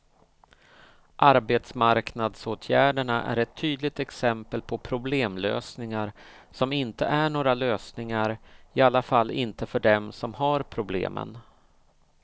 Arbetsmarknadsåtgärderna är ett tydligt exempel på problemlösningar som inte är några lösningar, i alla fall inte för dem som har problemen.